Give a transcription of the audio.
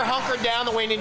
Elín